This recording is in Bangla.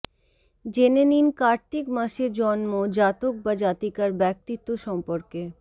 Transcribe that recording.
জেনে নিন কার্তিক মাসে জন্ম জাতক বা জাতিকার ব্যক্তিত্ব সম্পর্কে